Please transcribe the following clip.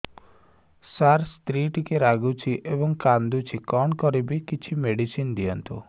ସାର ସ୍ତ୍ରୀ ଟିକେ ରାଗୁଛି ଏବଂ କାନ୍ଦୁଛି କଣ କରିବି କିଛି ମେଡିସିନ ଦିଅନ୍ତୁ